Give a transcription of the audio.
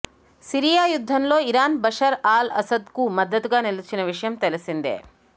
Syria యుద్ధంలో Iran Bashar al అసద్కు మద్దతుగా నిలిచిన విషయం తెలిసిందే